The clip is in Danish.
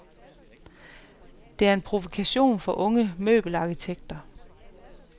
Det er en provokation fra unge møbelarkitekter.